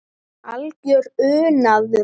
Algjör unaður.